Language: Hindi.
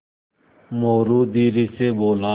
मोरू धीरे से बोला